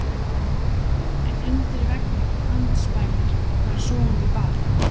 En undir veggnum andspænis var sofandi barn.